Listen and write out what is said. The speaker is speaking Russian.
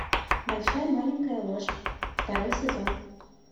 большая маленькая ложь второй сезон